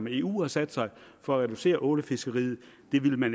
eu har sat sig for at reducere ålefiskeriet